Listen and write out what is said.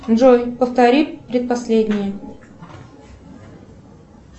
джой повтори предпоследнее